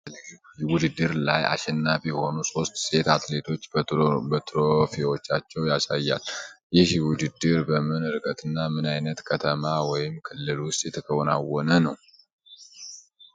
በሴቶች የአትሌቲክስ ውድድር ላይ አሸናፊ የሆኑ ሦስት ሴት አትሌቶችን በትሮፊዎቻቸው ያሳያል። ይህ ውድድር በምን ርቀትና ምን አይነት ከተማ ወይም ክልል ውስጥ የተከናወነ ነው?